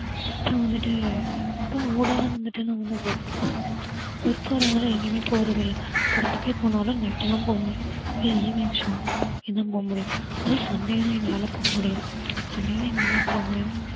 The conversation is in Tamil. அப்புறம் வந்துட்டு அப்புறம் வந்துட்டு நம்மெல்லாம் work போறோம். work போறதால எங்கயுமே போறதில்ல படத்துக்கே போனாலும் night தான் போவேன் இல்ல evening show இதான் போக முடியும். அதுவும் sunday தான் எங்களால போக முடியும். sunday தான் எங்க அம்மா இருப்பாங்க